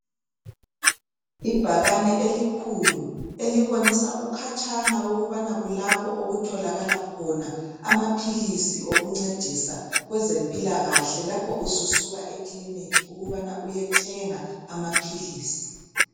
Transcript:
Ibhakane elikhuku, elibonisa ukhatshana ukubana kulapho okutholakala khona amaphilisi okuncedisa kwezempilakahle lapho ususuka ekiliniki ukubana uyethenga amaphilisi.